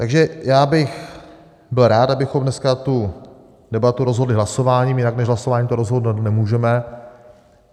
Takže já bych byl rád, abychom dneska tu debatu rozhodli hlasováním - jinak než hlasováním to rozhodnout nemůžeme.